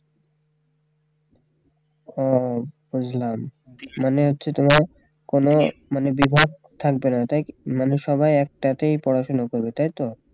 হ্যাঁ বুঝলাম মানে হচ্ছে তোমার কোন বিভাগ থাকবে না তাই কি মানে সবাই একটাতেই পড়াশোনা করবে তাই তো